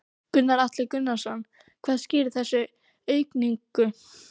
Gunnar Atli Gunnarsson: Hvað skýrir þessa aukningu?